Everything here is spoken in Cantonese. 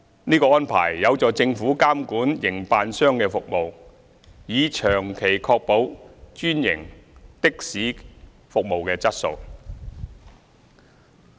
這安排有助政府監管營辦商的服務，以長期確保專營的士服務的質素。